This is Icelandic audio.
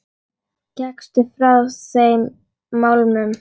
Gekkstu ekki frá þeim málum?